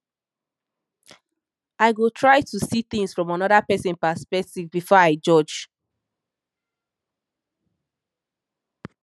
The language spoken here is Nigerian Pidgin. i go try to see things from another pesin perspective before i judge